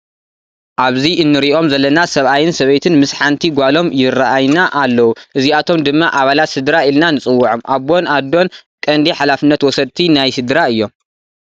ኣብዚ እንሪኦም ዘለና ሰባኣይን ሰበይትን ምስ ሓንቲ ጓሎም ይረኣይና ኣለው። እዚኣቶም ድማ ኣባላት ስድራ ኢልና ንፅዎዖም ኣቦን ኣዶን ቀንዲ ሓላፍነት ወሰድቲ ናይ ስድራ እዮም።